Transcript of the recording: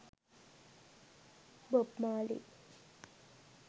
bob marley